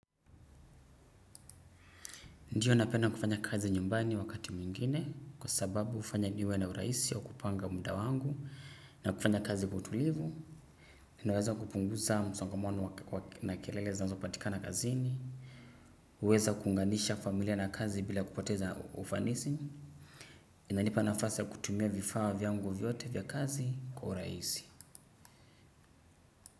Ndiyo napenda kufanya kazi nyumbani wakati mwingine kwa sababu hufanya niwe na urahisi wa kupanga muda wangu na kufanya kazi kwa utulivu. Inaweza kupunguza msongamano na kilele zinazo patika na kazini. Uweza kuunganisha familia na kazi bila kupoteza ufanisi. Ina nipa nafasi ya kutumia vifaa vyangu vyote vya kazi kwa urahisi.